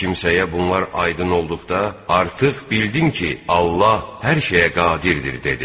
O kimsəyə bunlar aydın olduqda, artıq bildim ki, Allah hər şeyə qadirdir, dedi.